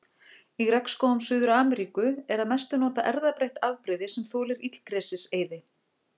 Í regnskógum Suður-Ameríku er að mestu notað erfðabreytt afbrigði sem þolir illgresiseyði.